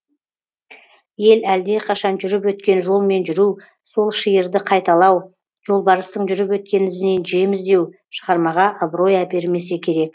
ел әлдеқашан жүріп өткен жолмен жүру сол шиырды қайталау жолбарыстың жүріп өткен ізінен жем іздеу шығармаға абырой әпермесе керек